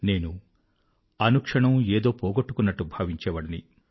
నేను అనుక్షణమూ ఏదో పోగొట్టుకున్నట్టు భావించేవాడిని